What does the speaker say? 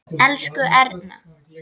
Elsku Erna.